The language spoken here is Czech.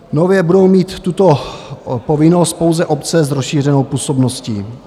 Nově budou mít tuto povinnost pouze obce s rozšířenou působností.